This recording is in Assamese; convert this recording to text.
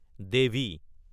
দেৱী